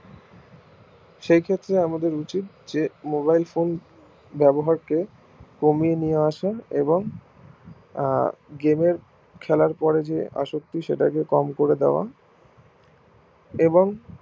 সেই ক্ষেত্রে আমাদের উচিত mobilephone ব্যবহার কে কমিয়ে নিয়ে আসা এবং আহ game এর খেলার পরে যে আশক্তি সেটাকে কম করে দেওয়া এবং